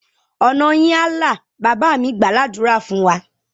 Ọ̀nà yín á là! Bàbá mí gbàá ládùrá fún wa.